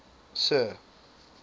sir